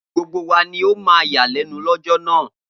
Gbogbo wa ni ó máa yàlẹ́nu lọ́jọ́ náà.